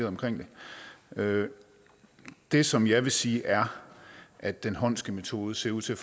omkring det det som jeg vil sige er at den d’hondtske metode ser ud til